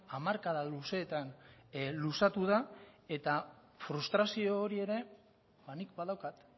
hamarkada luzeetan luzatu da eta frustrazio hori ere nik badaukat